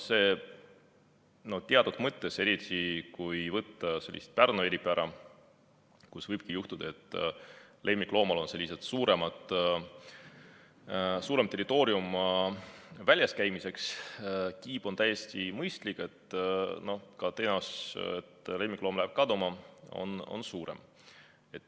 Teatud mõttes, eriti kui arvestada Pärnu eripära, kus võibki juhtuda, et lemmikloomal on väljas käimiseks suurem territoorium, on kiip täiesti mõistlik, kuna ka tõenäosus, et lemmikloom läheb kaduma, on suurem.